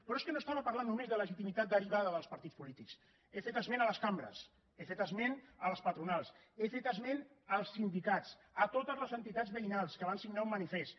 però és que no estava parlant només de legitimitat derivada dels partits polítics he fet esment a les cambres he fet esment a les patronals he fet esment als sindicats a totes les entitats veïnals que van signar un manifest